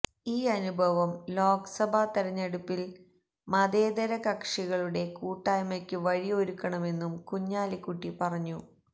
ഈ അനുഭവം ലോക്സഭാ തെരെഞ്ഞെടുപ്പിൽ മതേതര കക്ഷികളുടെ കൂട്ടായ്മക്ക് വഴി ഒരുക്കണമെന്നും കുഞ്ഞാലിക്കുട്ടി പറഞ്ഞു